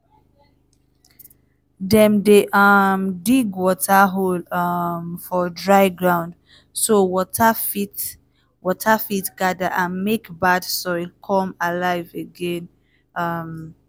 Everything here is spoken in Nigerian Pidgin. dem dey um dig water hole um for dry ground so water fit water fit gather and mek bad soil come alive again. um